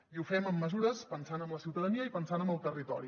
i ho fem amb mesures pensant en la ciutadania i pensant en el territori